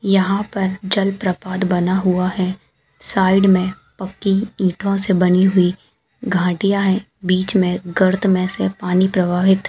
यहाँ पर जल प्रपात बना हुआ है साइड मे पक्की ईटों से बनी हुई घाटिया है बिच मे गर्त मे से पानी प्रवाहित--